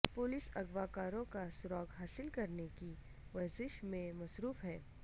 police اغوا کاروں کا سراغ حاصل کرنے کی ورزش میں مصروف ہے